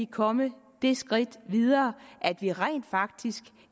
komme det skridt videre at vi rent faktisk